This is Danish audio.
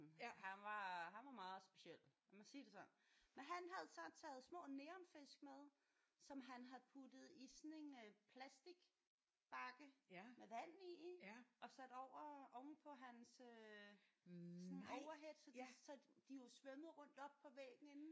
Han var han var meget speciel lad mig sige det sådan men han havde så taget små neonfisk med som han havde puttet i sådan en øh plastik bakke med vand i og sat over ovenpå hans øh sådan en overhead så de så de jo svømmede rundt oppe på væggen inden